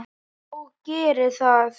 Og geri það.